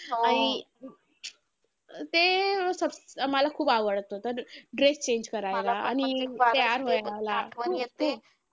आणि ते मला खूप आवडतं dress change करायला आणि ते आठवायला खूप खूप